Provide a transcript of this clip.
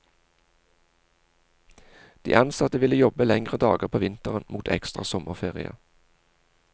De ansatte ville jobbe lengre dager på vinteren mot ekstra sommerferie.